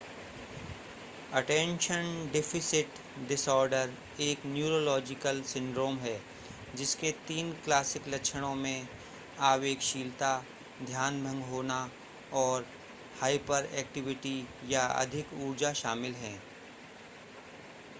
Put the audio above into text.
attention deficit disorder एक neurological syndrome है जिसके तीन क्लासिक लक्षणों में आवेगशीलता ध्यान भंग होना और हाइपरएक्टिविटी या अधिक ऊर्जा शामिल है